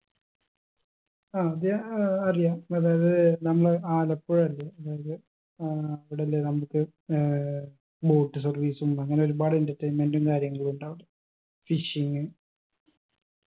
അത് ഏർ അറിയാം അതായത് നമ്മളെ ആലപ്പുഴ അല്ലെ ഏർ അവിടല്ലേ നമ്മുക്ക് ഏർ boat service ഉം അങ്ങനൊരുപാട് entertainment ഉം കാര്യങ്ങളുണ്ടാവും fishing